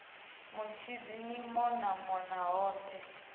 mutshidzi ni mona mona hothe